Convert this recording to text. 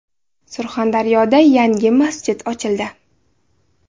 Surxondaryoda yangi masjid ochildi .